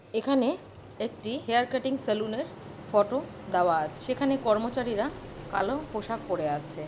এখানে একটি hair cutting সেলুনের ফটো দেওয়া আছ সেখানে কর্মচারীরা কালো পোশাক পড়ে আছে।